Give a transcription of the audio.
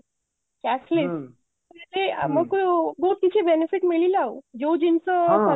cashless ଆମକୁ ବହୁତ କିଛି benefit ମିଳିଲା ଆଉ ଯୋଉ ଜିନିଷ